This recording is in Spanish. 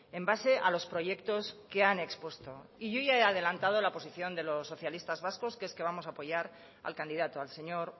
en base a los proyectos que han expuesto y yo ya he adelantado la posición de los socialistas vascos que es que vamos a apoyar al candidato al señor